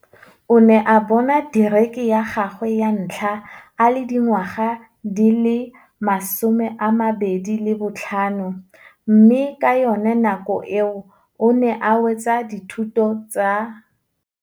O ne a bona dikerii ya gagwe ya ntlha a le dingwa ga di le 25, mme ka yona nako eo o ne a wetsa dithuto tsa.